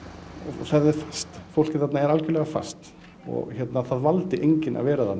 og það er fast fólkið þarna er algjörlega fast og það valdi enginn að vera þarna